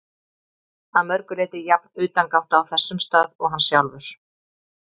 Að mörgu leyti jafn utangátta á þessum stað og hann sjálfur.